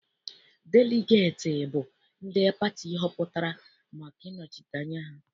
Deligeeti bụ ndị pati họpụtara maka ịnọchite anya ha.